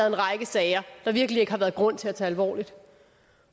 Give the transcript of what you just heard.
en række sager der virkelig ikke har været grund til at tage alvorligt